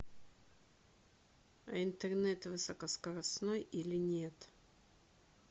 интернет высокоскоростной или нет